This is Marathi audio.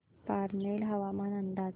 पारनेर हवामान अंदाज